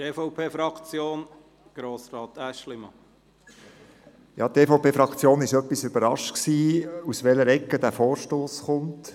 Die EVP-Fraktion war etwas überrascht, aus welcher Ecke dieser Vorstoss kommt.